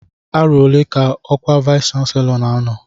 Arọ ole ka ọkwa vayis chansilọ n'anọ?